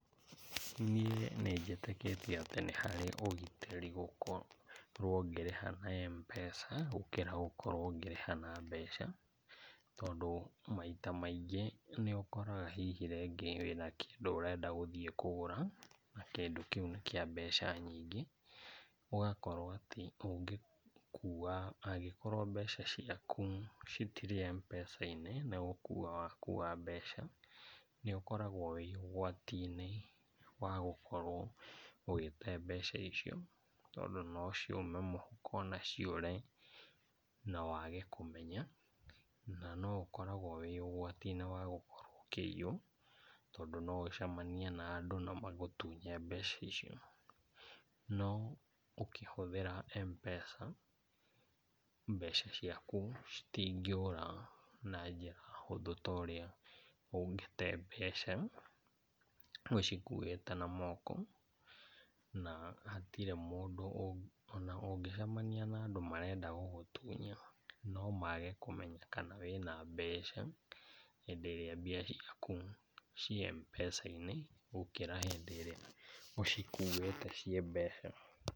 Niĩ nĩnjĩtĩkĩtie atĩ nĩ harĩ ũgitĩri gũkorwo ngĩrĩha na Mpesa gũkĩra gũkorwo ngĩrĩha na mbeca, tondũ maita maingĩ nĩũkoraga hihi rĩngĩ wĩna kĩndũ ũrenda gũthiĩ kũgũra na kĩndũ kĩu nĩ kĩa mbeca nyingĩ, ũgakorwo atĩ ũngĩkua angĩkorwo mbeca ciaku citirĩ Mpesa-inĩ nĩgũkua wakua mbec,a nĩũkoragwo wĩ ũgwati-inĩ wa gũkorwo ũgĩte mbeca icio tondũ nociume moko na ciũre na wage kũmenya. Na, no ũgĩkoragwo wĩ ũgwati-inĩ wa gũkorwo ũkĩiywo tondũ noũgĩcemanie na andũ na magũtunye mbeca icio, no ũkĩhũthĩra Mpesa, mbeca ciaku citingĩũra na njĩra hũthũ ta ũrĩa ũngĩte mbeca ũcikuĩte na moko, na hatirĩ mũndũ ona ũngĩcemania na andũ marenda gũgũtunya no mage kũmenya kana wĩna mbeca hĩndĩ ĩrĩa mbia ciaku ciĩ Mpesa-inĩ gũkĩra hĩndĩ ĩrĩa ũcikuĩte ciĩ mbeca.